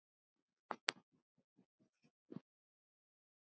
Að hætta?